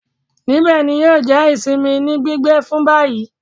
Nibẹ ni yio jẹ isinmi ni gbigbe fun bayi